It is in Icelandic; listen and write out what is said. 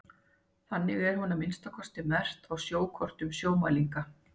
þannig er hún að minnsta kosti merkt á sjókortum sjómælinga